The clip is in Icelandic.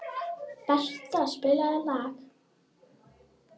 Bertha, spilaðu lag.